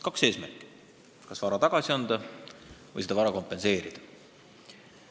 Kaks eesmärki: kas vara tagasi või vara kompenseerida.